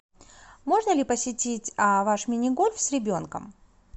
можно ли посетить ваш мини гольф с ребенком